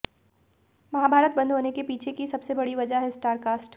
महाभारत बंद होने के पीछे की सबसे बड़ी वजह है स्टारकास्ट